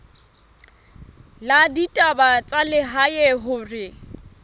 la ditaba tsa lehae hore